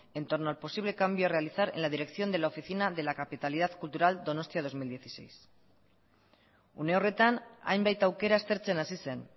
en torno al posible cambio a realizar en la dirección de la oficina de la capitalidad cultural donostia dos mil dieciséis une horretan hainbat aukera aztertzen hasi zen